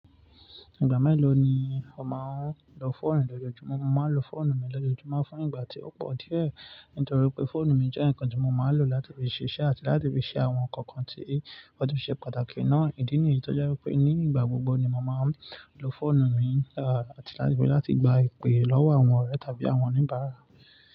Ìgbà mélòó ni o máa ń lo fóònù lójoojúmọ́? Mo máa ń lo fóònù mi lójoojúmọ́ fún ìgbà tí ó pọ̀ díẹ̀, nítorí pé fóònù mi jẹ́ ǹkan tí mo máa ń lò láti fi ṣiṣẹ́ àti láti fi ṣe àwọn ǹkan kan tí ó tún ṣe pàtàkì ná. Ìdí nìyí tí ó jẹ́ wípé ní ìgbà gbogbo ni mo máa ń lo fóònù mi, àti láti fi láti gba ìpè lọ́wọ́ àwọn ọ̀rẹ́ tàbí àwọn oníbàárà.